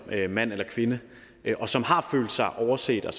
mand eller kvinde og som har følt sig overset og